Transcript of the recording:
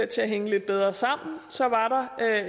til at hænge lidt bedre sammen så var der